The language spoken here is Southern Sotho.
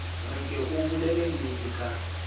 re ke o bolellennete ka